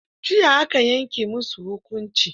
Jiya aka yanke musu hukunci.